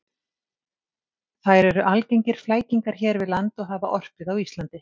Þær eru algengir flækingar hér við land og hafa orpið á Íslandi.